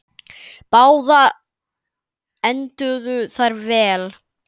Báðar enduðu þær vel.